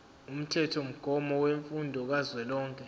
umthethomgomo wemfundo kazwelonke